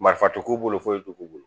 Marifo k'u bolo foyi t'u bolo